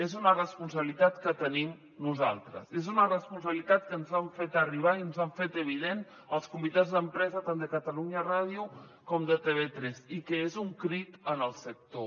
és una responsabilitat que tenim nosaltres és una responsabilitat que ens han fet arribar i ens han fet evident els comitès d’empresa tant de catalunya ràdio com de tv3 i que és un crit en el sector